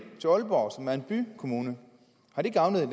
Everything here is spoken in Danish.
til aalborg som er en bykommune har det gavnet